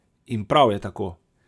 In prav je tako!